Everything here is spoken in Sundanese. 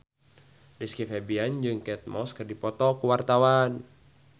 Rizky Febian jeung Kate Moss keur dipoto ku wartawan